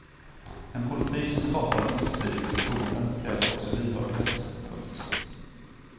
En politik som skapar ömsesidigt förtroende kräver också lyhördhet. punkt